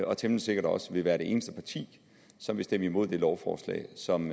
og temmelig sikkert også vil være det eneste parti som vil stemme imod det lovforslag som